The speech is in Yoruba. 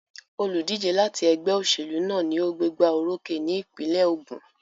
Olùdíje láti ẹgbẹ́ òṣèlú náà ni ó gbégbá orókè ní ìpínlẹ̀ Ògùn.